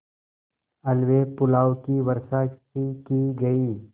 हलवेपुलाव की वर्षासी की गयी